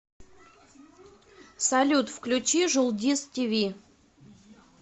салют включи жулдиз ти ви